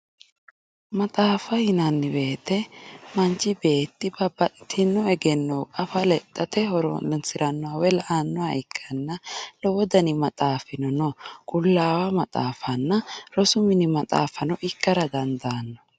Maaxaffa yinanni woyite manchi betti babaxitino eggeno affa lexatte horosiranoha woyi la"anoha ikkanna lowo dani maaxaffino no qulawu maaxafanna roosu minni maaxaffano ikkara dandano